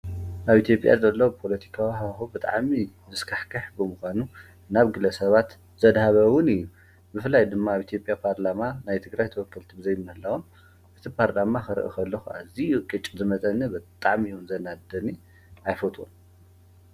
ኣብ ኢትዮጵያ ዘሎ ፖለቲካዊ ሃዋህው ብጣዕሚ ዘስካሕክሕ ብምኳኑ ናብ ግለሰባት ዘድሃበ እውን እዩ፡፡ ብፈላይ ድማ ኣብ ኢትዮጵያ ፓርላማ ናይ ትግራይ ተወከልቲ ብዘይምህላዎም እቲ ፓርላማ ክርኢ ከለኩ ኣዝዩ እዩ ቅጭ ዝመፀኒ ብጣዕሚ እዩ እውን ዘናድደኒ ኣይፈትዎን፡፡